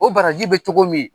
O baraji bɛ cogo min.